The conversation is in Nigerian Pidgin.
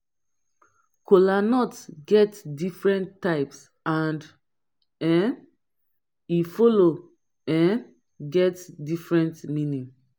Kolanut get different types and um e follow um get different meaning